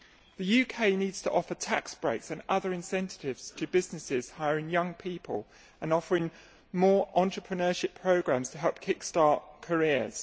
The UK needs to offer tax breaks and other incentives to businesses hiring young people and offering more entrepreneurship programmes to help kick start careers.